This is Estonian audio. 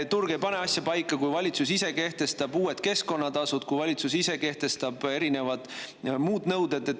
Turg ei pane asja paika, kui valitsus ise kehtestab uued keskkonnatasud, kui valitsus ise kehtestab erinevad muud nõuded.